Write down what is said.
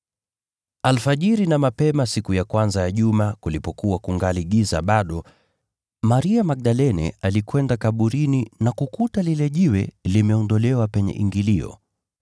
Alfajiri na mapema siku ya kwanza ya juma, kulipokuwa kungali giza bado, Maria Magdalene alikwenda kaburini na kukuta lile jiwe limeondolewa penye ingilio.